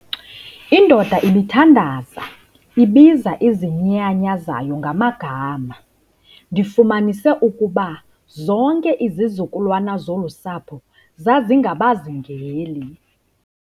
Indoda ibithhandaza ibiza izinyanya zayo ngamagama. Ndifumanise ukuba zonke izizukulwana zolu sapho zazingabazingeli